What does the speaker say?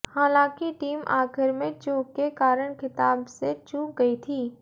हालांकि टीम आखिर में चूक के कारण खिताब से चूक गई थी